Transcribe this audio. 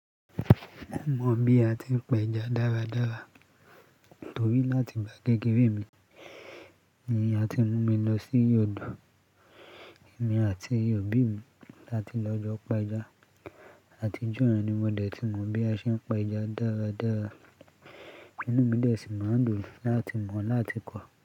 Mo mọ bí a ti ń pa ẹja dáradára torí láti ìgbà kékeré mi, n ìyá ti mú mi lọ sí odò. Èmi àti òbí mi la ti lọ jọ pa ẹja. Àtijọ́ ni mo dẹ̀ ti mọ̀ bí a ṣe ń pa ẹja dáradára. Inú mi dẹ̀ sì máa ń dùn láti mọ̀ láti kọ́.